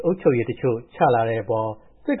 အုပ်ချုပ်ရေးတိုးချလာတဲ့အပေါ် စစ်